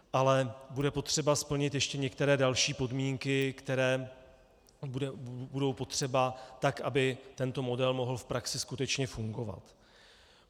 Ale bude potřeba splnit ještě některé další podmínky, které budou potřeba, tak aby tento model mohl v praxi skutečně fungovat.